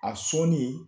A sɔnni